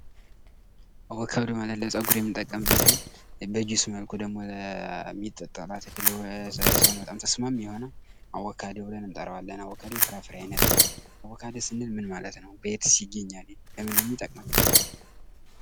አቮካዶ ማለት ለፀጉር የምንጠቀምበትኝ በጁስ መልኩ የሚጠጣ ለሰውነት በጣም ተስማሚ የሆነ አቮካዶ ብለን እንጠራዋለን። አቮካዶ የፍራፍሬ አይነት ነው ።አቮካዶ ስንል ምን ማለት ነው? በየትስ ይገኛል? ለምን ነው የሚጠቅመን?